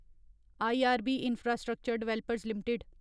IRB Infrastructure Developers limited